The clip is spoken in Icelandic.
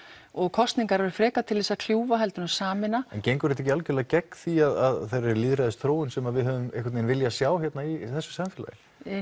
kosningar eru frekar til þess að kljúfa heldur en að sameina en gengur þetta ekki algjörlega gegn því að þeirri lýðræðisþróun sem við höfum einhvern veginn viljað sjá í þessu samfélagi